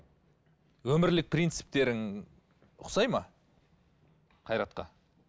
өмірлік принциптерің ұқсайды ма қайратқа